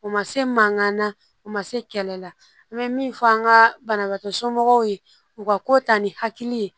U ma se mankan na u ma se kɛlɛ la an bɛ min fɔ an ka banabaatɔ somɔgɔw ye u ka ko ta ni hakili ye